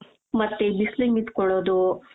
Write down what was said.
ಮತ್ತೆ ಈ ಬಿಸಿಲಿಗೆ ನಿಂತ್ಕೊಳ್ಳೋದು .